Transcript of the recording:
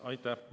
Aitäh!